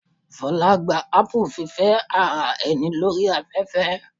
Fola gba apu fífẹ́ ara ẹni lórí afẹ́fẹ́.